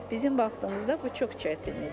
Bizim vaxtımızda bu çox çətin idi.